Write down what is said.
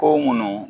Ko munnu